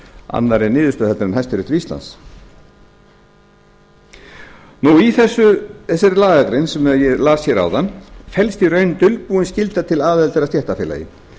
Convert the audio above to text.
annarri niðurstöðu en hæstiréttur íslands í þessari lagagrein sem ég las hér áðan felst í raun dulbúin skylda til aðildar að stéttarfélagi